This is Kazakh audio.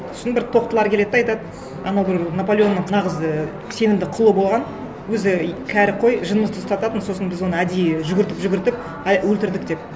сосын бір тоқтылар келеді де айтады анау бір наполеонның нағыз ы сенімді құлы болған өзі кәрі қой жынымызды ұстататын сосын біз оны әдейі жүгіртіп жүгіртіп өлтірдік деп